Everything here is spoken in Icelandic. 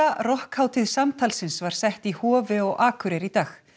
rokkhátíð samtalsins var sett í Hofi á Akureyri í dag